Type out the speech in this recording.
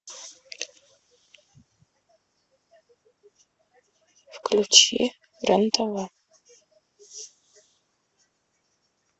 включи рен тв